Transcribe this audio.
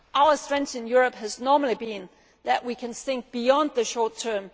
thinking. Our strength in Europe has normally been that we can think beyond the